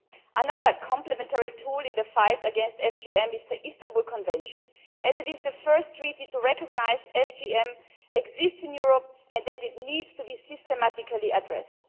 Another complementary tool in the fight against FGM was the Istanbul Convention as it was the first treaty to recognise that FGM exists in Europe and needs to be systematically addressed.